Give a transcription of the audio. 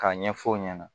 K'a ɲɛfɔ o ɲɛna